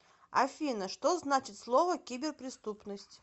афина что значит слово киберпреступность